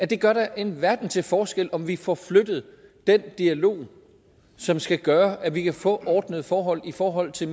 det gør da en verden til forskel om vi får flyttet den dialog som skal gøre at vi kan få ordnede forhold i forhold til